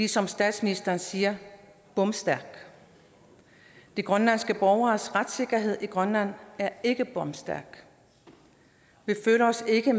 som statsministeren siger bomstærkt de grønlandske borgeres retssikkerhed i grønland er ikke bomstærk vi føler os ikke